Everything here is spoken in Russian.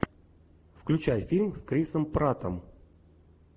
включай фильм с крисом пратом